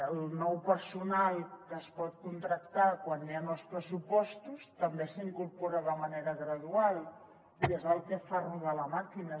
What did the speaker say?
el nou personal que es pot contractar quan hi han els pressupostos també s’incorpora de manera gradual i és el que fa rodar la màquina